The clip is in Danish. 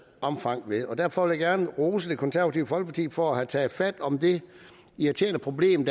omfang og derfor vil jeg gerne rose det konservative folkeparti for at have taget fat om det irriterende problem